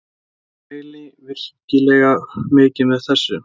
Mæli virkilega mikið með þessu.